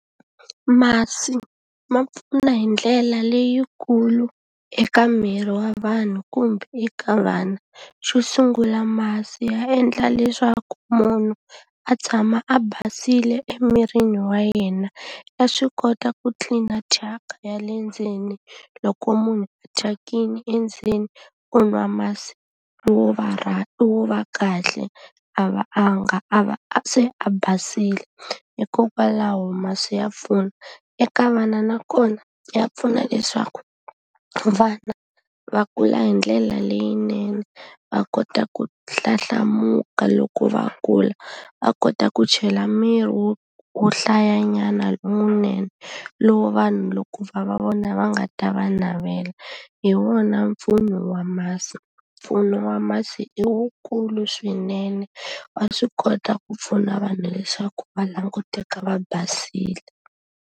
Masi ma pfuna hi ndlela leyikulu eka miri wa vanhu kumbe eka vana. Xo sungula masi ya endla leswaku munhu a tshama a basile emirini wa yena. Ya swi kota ku tlilina thyaka ya le ndzeni loko munhu thyakile endzeni, u nwa masi wo va wo va kahle, a va a nga a va a se a basile. Hikokwalaho masi ya pfuna. Eka vana nakona ya pfuna leswaku vana va kula hi ndlela leyinene, va kota ku hlahlamuka loko va kula. Va kota ku chela miri wo wo hlayanyana lowunene, lowu vanhu loko va va vona va nga ta va navela. Hi wona mpfuno wa masi. Mpfuno wa masi i wukulu swinene, wa swi kota ku pfuna vanhu leswaku va languteka va basile.